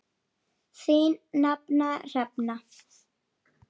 Þín nafna, Hrefna.